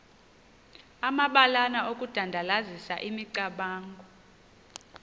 amabalana okudandalazisa imicamango